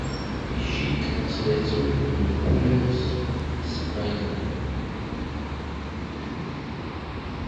ищи трансляцию ливерпуля с брайтоном